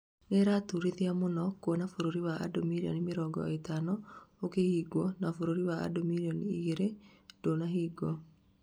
nĩĩraturithia mũno kuona bũrũri wa andũ mirĩoni mĩrongo ĩtano ũkihingwo, na bũrũri wa andũ mirĩoni igĩrĩ ndũnahingwo